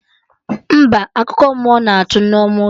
Mba, akụkọ mmụọ na atụ Nneoma ụjọ